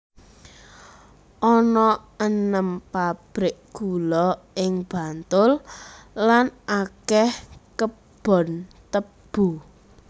Ana enem pabrik gula ing Bantul lan akèh kebon tebu